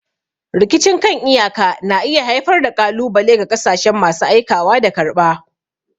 Rikicin kan iyaka na iya haifar da ƙalubale ga ƙasashen masu aikawa da karɓa.